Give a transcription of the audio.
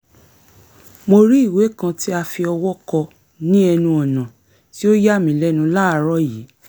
mo rí ìwé kan tí a fi ọwọ́ kọ ní ẹnu ọ̀nà tí ó yà mí lẹ́nu láàárọ̀ yìí